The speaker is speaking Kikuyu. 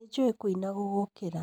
Nĩ njuĩ kuina gugukĩra